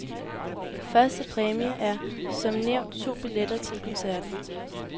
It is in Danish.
Første præmie er som er nævnt to billetter til koncerten.